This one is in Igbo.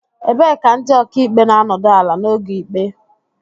Ebee ka ndị okaikpe na-anọdụ ala n'oge ikpe